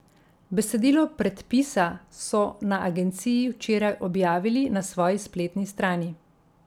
Besedilo predpisa so na agenciji včeraj objavili na svoji spletni strani.